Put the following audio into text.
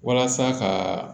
Walasa ka